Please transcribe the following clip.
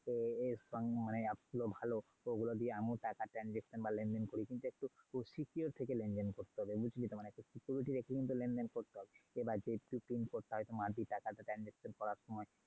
smang অনেক এই সব app গুলো ভালো। তো ওগুলো দিয়ে আমিও টাকা transaction বা লেন -দেন করি কিন্তু একটু খুব secure থেকে লেন -দেন করতে হবে। বুঝলি তো? মানে security রেখে লেন -দেন করতে হবে। এবার যে PINcode টা মারবি টাকাটা transaction করার সময়।